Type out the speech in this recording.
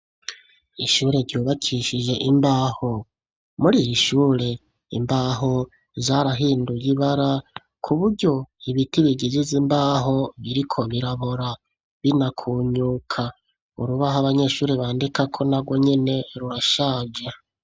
Ishure ryubakishije imbaho muri ishure imbaho zarahinduye ibara ku buryo ibiti bigijize imbaho biriko birabora bina kunyuka urubaho abanyeshuri bandika ko na gwo nyene rurashaje.